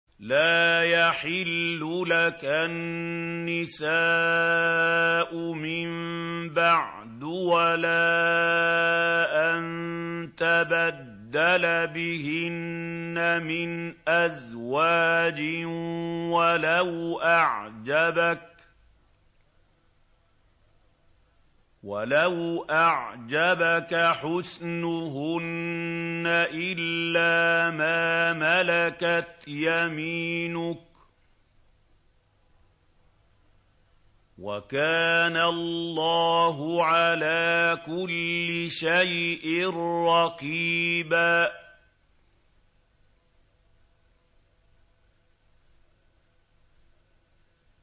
لَّا يَحِلُّ لَكَ النِّسَاءُ مِن بَعْدُ وَلَا أَن تَبَدَّلَ بِهِنَّ مِنْ أَزْوَاجٍ وَلَوْ أَعْجَبَكَ حُسْنُهُنَّ إِلَّا مَا مَلَكَتْ يَمِينُكَ ۗ وَكَانَ اللَّهُ عَلَىٰ كُلِّ شَيْءٍ رَّقِيبًا